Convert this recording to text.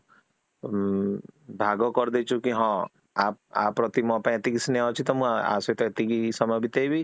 ମ୍ ଭାଗ କରି ଦେଇଛୁ କି ହଁ ଆପ୍ରତି ମୋର ପାଇଁ ଏତିକି ସ୍ନେହ ଅଛି ତ ମୁଁ ୟାସହିତ ଏତିକି ସମୟ ବିତେଇବି